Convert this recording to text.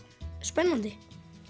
spennandi